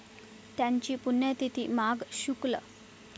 त्यांची पुण्यतिथी माघ शु.